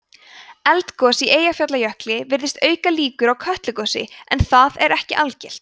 eldgos í eyjafjallajökli virðist auka líkur á kötlugosi en það er ekki algilt